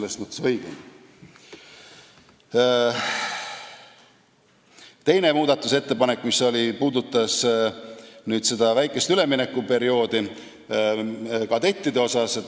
Teine Politsei- ja Piirivalveameti muudatusettepanek puudutas kadettide väikest üleminekuperioodi.